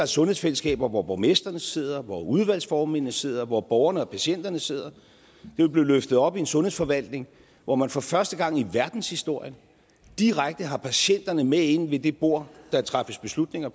sundhedsfællesskaber hvor borgmestrene sidder hvor udvalgsformændene sidder hvor borgerne og patienterne sidder det vil blive løftet op i sundhedsforvaltningen hvor man for første gang i verdenshistorien direkte har patienterne med inde ved det bord der træffes beslutninger